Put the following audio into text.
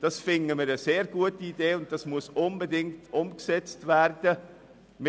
Dies finden wir eine sehr gute Idee, die unbedingt umgesetzt werden muss.